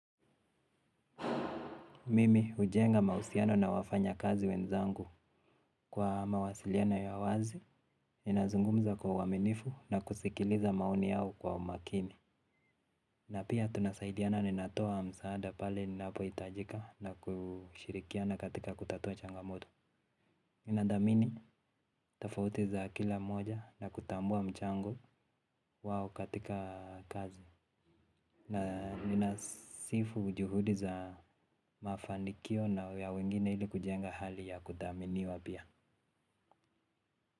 Mimi hujenga mahusiano na wafanyakazi wenzangu kwa mawasiliano ya wazi, ninazungumza kwa uaminifu na kusikiliza maoni yao kwa umakini. Na pia tunasaidiana ninatoa msaada pale ninapohitajika na kushirikiana katika kutatua changamoto. Nathamini tofauti za kila mmoja na kutambua mchango wao katika kazi. Ninasifu juhudi za mafanikio na ya wengine ili kujenga hali ya kuthaminiwa pia.